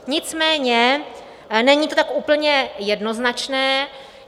Nicméně není to tak úplně jednoznačné.